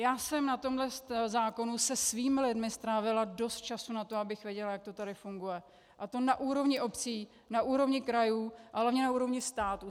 Já jsem na tomto zákonu se svými lidmi strávila dost času na to, abych věděla, jak to tady funguje, a to na úrovni obcí, na úrovni krajů a hlavně na úrovni státu.